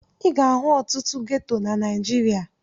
Ị ga-ahụ ọtụtụ geto na Naịjirịa.